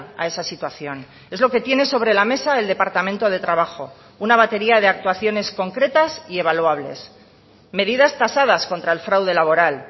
a esa situación es lo que tiene sobre la mesa el departamento de trabajo una batería de actuaciones concretas y evaluables medidas tasadas contra el fraude laboral